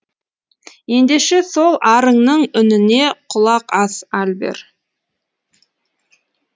ендеше сол арыңның үніне құлақ ас альбер